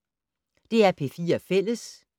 DR P4 Fælles